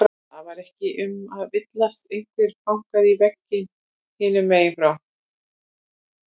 Það var ekki um að villast, einhver bankaði í vegginn hinum megin frá.